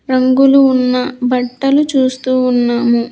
రంగులు ఉన్న బట్టలు చూస్తూ ఉన్నాము.